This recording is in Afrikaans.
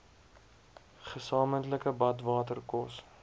gesamentlike badwater kos